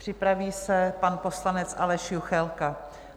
Připraví se pan poslanec Aleš Juchelka.